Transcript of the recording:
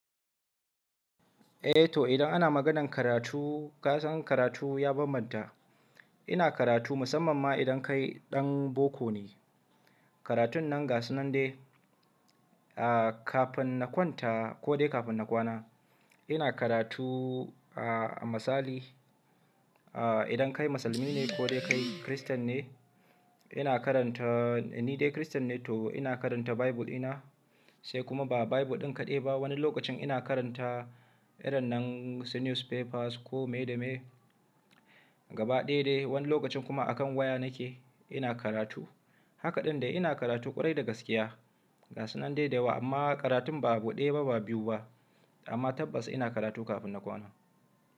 E, to idan ana maganar karatu, ka san karatu ya bambanta. Ina karatu musamman ma idan kai ɗan boko ne. Karatun nan gasu nan dai, ah, kafin na kwanta ko dai kafin na kwana. Ina karatu ah, a misali, ah, idan kai musulmi ne ko dai kai christian ne, ina karanta ni dai christian ne to ina karanta bible ɗina, sai kuma ba bible ɗin kaɗai ba, wani lokacin ina karanta irin nan su newspapers ko me da me. Gaba ɗaya dai wani lokacin kuma akan waya nake ina karatu. Haka ɗai ina karatu ƙwarai da gaskiya. Gasu nan dai da dayawa amma karatun ba ɗaya ba ba biyu ba, amma tabbas ina karatu kafin na kwana.